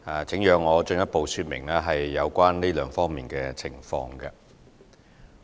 請讓我進一步說明有關這兩方面的情況。